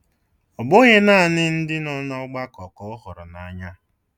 Ọ bụghị naanị ndị nọ n’ọgbakọ ka ọ hụrụ n’anya